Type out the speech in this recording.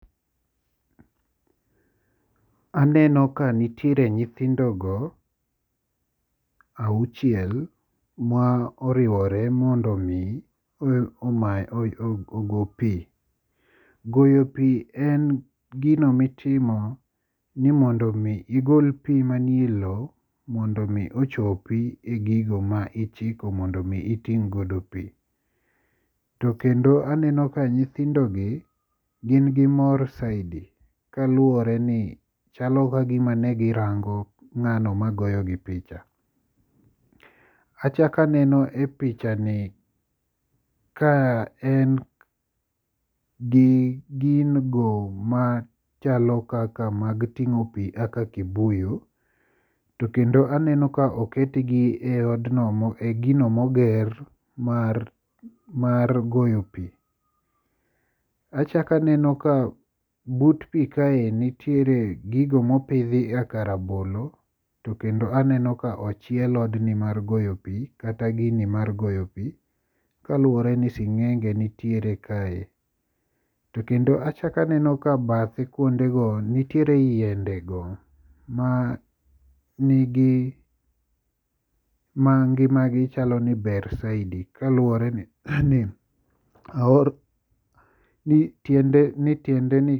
Aneno ka nitiere nyithindogo auchiel ma oriwore mondo mi ogo pi. Goyo pi en gino. mittimo nimond mi igol pi elowo mondo mi ochopi e gigo ma ichiko mondo mi iting' goido pi. To kendo aneno ni nyithindo gi gin gi mor saidi, kaluworeni chalo ni ne girango ng'ano magoyogi picha. Achako aneno e picha en gi gigo mag ting'o pi machalo kaka kibuyu to kendo aneno ka oketgi e odno e gino moger mar goyo pi. Achako aneno kabut i kaeni nitiere gigo mopidhi kaka rabolo to kendo aneno ka ochiel odni mar goyo pi kata gini mar goyo pi kaluwore ni sing'enge nitiere kae. To achako aneno ni bathe kae nitiere yiendego manigi mangimagi chalo ni ber saidi kaluwore ni aor ni tiendeni